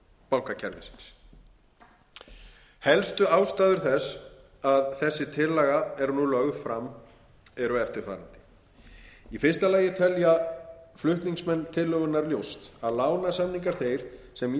hrun bankakerfisins helstu ástæður þess að þessi tillaga er nú lögð fram eru eftirfarandi í fyrsta lagi telja flutningsmenn tillögunnar ljóst að lánasamningar þeir sem